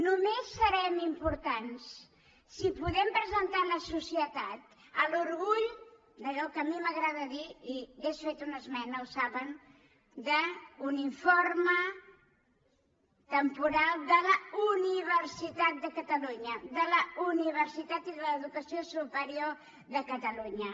només serem importants si podem presentar a la societat l’orgull d’allò que a mi m’agrada dirne i hauria fet una esmena ho saben un informe temporal de la universitat de catalunya de la universitat i de l’educació superior de catalunya